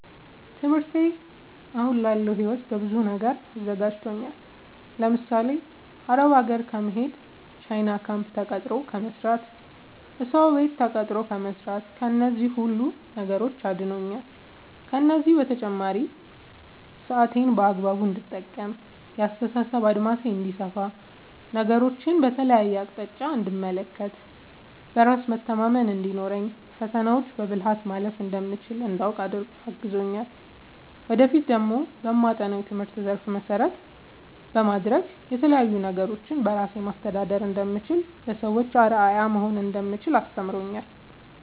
ትምህርቴ አሁን ላለው ህይወቴ በብዙ ነገር አዘጋጅቶኛል። ለምሳሌ፦ አረብ ሀገር ከመሄድ፣ ቻይና ካምፕ ተቀጥሮ ከመስራት፣ እሰው ቤት ተቀጥሮ ከመስራት ከነዚህ ሁሉ ነገሮች አድኖኛል። ከእነዚህ በተጨማሪ ደግሞ ሰአቴን በአግባቡ እንድጠቀም፣ የአስተሳሰብ አድማሴ እንዲሰፋ፣ ነገሮችን በተለያየ አቅጣጫ እንድመለከት፣ በራስ መተማመን እንዲኖረኝ፣ ፈተናዎችን በብልሀት ማለፍ እንደምችል እንዳውቅ አግዞኛል። ወደፊት ደግሞ በማጠናው የትምህርት ዘርፍ መሰረት በማድረግ የተለያዪ ነገሮችን በራሴ ማስተዳደር እንደምችል፣ ለሰዎች አርአያ መሆን እንደምችል አስተምሮኛል።